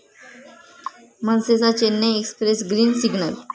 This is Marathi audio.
मनसेचा 'चेन्नई एक्स्प्रेस' ग्रीन सिग्नल